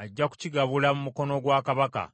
ajja kukigabula mu mukono gwa kabaka.”